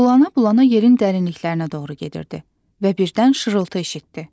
Bulana-bulana yerin dərinliklərinə doğru gedirdi və birdən şırıltı eşitdi.